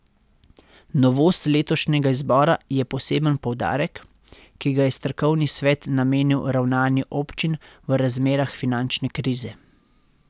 Novost letošnjega izbora je poseben poudarek, ki ga je strokovni svet namenil ravnanju občin v razmerah finančne krize.